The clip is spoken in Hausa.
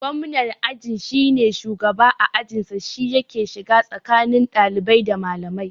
Gwamnan aji shine shugaban a ajin sa, shi yake shiga tsakani ɗalibai da malamai